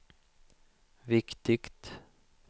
viktigt